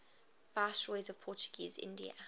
viceroys of portuguese india